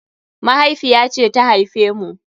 Mahaifiya ce ta haife mu.